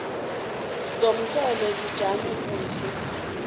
zomthelo zijame kuhle